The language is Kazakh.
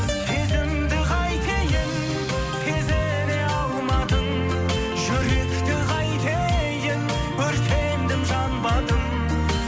сезімді қайтейін сезіне алмадың жүректі қайтейін өртендім жанбадым